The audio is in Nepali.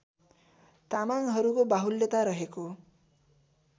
तामाङहरूको बाहुल्यता रहेको